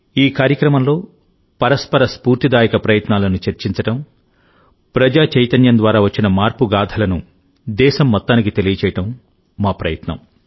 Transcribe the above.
ఈ కార్యక్రమంలోపరస్పర స్ఫూర్తిదాయక ప్రయత్నాలను చర్చించడం ప్రజా చైతన్యం ద్వారా వచ్చిన మార్పు గాథలను దేశం మొత్తానికి తెలియజేయడం మా ప్రయత్నం